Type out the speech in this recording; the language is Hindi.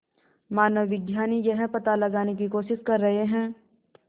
मानवविज्ञानी यह पता लगाने की कोशिश कर रहे हैं